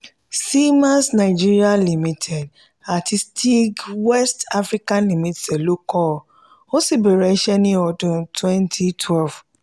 siemens nigeria limited àti steag west africa limited ló kọ́ ọ ó sì bẹ̀rẹ̀ iṣẹ́ ní ọdún cs] twemty twelve